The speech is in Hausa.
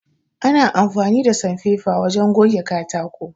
Ana amfani da sanfefa wajen goge katako